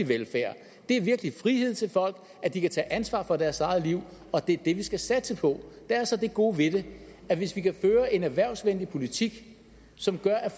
velfærd det er virkelig frihed til folk at de kan tage ansvar for deres eget liv og det er det vi skal satse på der er så det gode ved det at hvis vi kan føre en erhvervsvenlig politik som gør at